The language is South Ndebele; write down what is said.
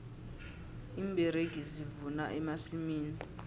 iimberegi zivuna emasimini